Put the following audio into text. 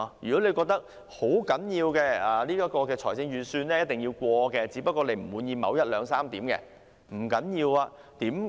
如果你認為預算案必須通過，只不過不滿意當中某一、兩、三點時，不要緊。